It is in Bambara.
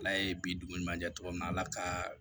Ala ye bi dugu ma jɛ cogo min na ala ka